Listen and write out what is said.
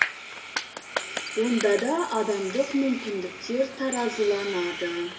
онда да адамдық мүмкіндіктер таразыланады